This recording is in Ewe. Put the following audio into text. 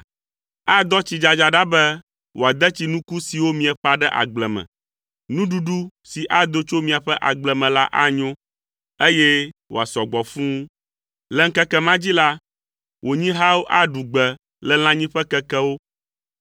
Adɔ tsidzadza ɖa be wòade tsi nuku siwo mieƒã ɖe agble me. Nuɖuɖu si ado tso miaƒe agble me la anyo, eye wòasɔ gbɔ fũu. Le ŋkeke ma dzi la, wò nyihawo aɖu gbe le lãnyiƒe kekewo.